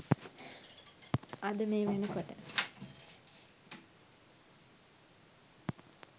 අද මේ වෙනකොට